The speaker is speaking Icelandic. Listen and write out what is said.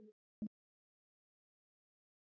Hann er mjór.